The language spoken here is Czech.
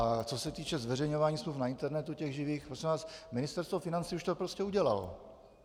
A co se týče zveřejňování smluv na internetu, těch živých, prosím vás, Ministerstvo financí už to prostě udělalo.